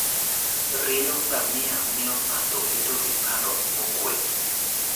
Rieyo ngamia miyo ng'ato bedo gi paro mokuwe.